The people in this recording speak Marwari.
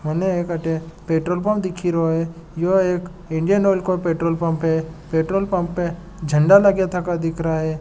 मन अटे पेट्रोल पंप दिख रहा है यों एक इंडियन ऑयल को पेट्रोल पंप है पेट्रोल पम्प झंडा लगा थका लग रहा है।